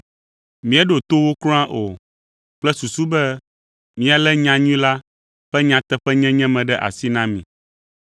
Míeɖo to wo kura o, kple susu be míalé nyanyui la ƒe nyateƒenyenye me ɖe asi na mi.